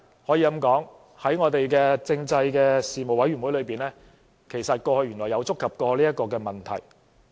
可以這樣說，在政制事務委員會裏，過去原來曾觸及這個問題。